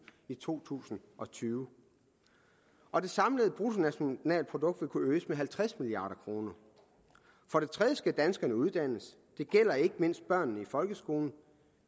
i to tusind og tyve og det samlede bruttonationalprodukt vil kunne øges med halvtreds milliard kroner for det tredje skal danskerne uddannes det gælder ikke mindst børnene i folkeskolen